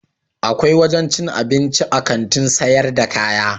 Akwai wajen cin abinci a Kantin sayar da kaya.